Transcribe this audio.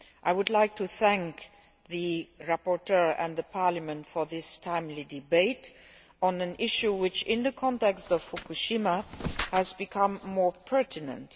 I would like to thank the rapporteur and Parliament for this timely debate on an issue which, in the context of Fukushima, has become more pertinent.